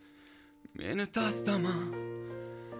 мені тастама